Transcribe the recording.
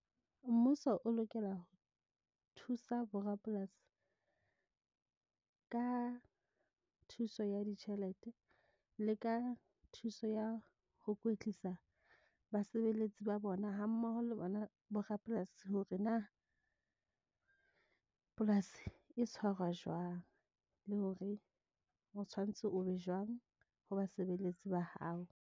Mmuso o lokela, ho thusa bo rapolasi, ka thuso ya ditjhelete le ka thuso ya ho kwetlisa ba sebeletsi ba bona ha mmoho le bona bo rapolasi hore na polasi e tshwarwa jwang. Le hore o tshwanetse o be jwang ho basebeletsi ba hao.